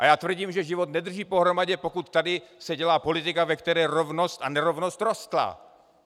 A já tvrdím, že život nedrží pohromadě, pokud se tady dělá politika, ve které rovnost a nerovnost rostla.